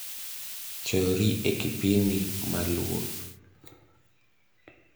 chor ri e kipindi maluo